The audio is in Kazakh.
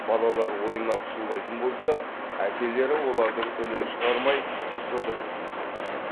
балалар ойнап шулайтын болса әкелері олардың үнін шығармай жұдырық жұмсайды екен